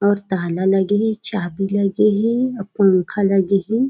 और ताला लगे हे चाबी लगे हे अउ पंखा लगे हे।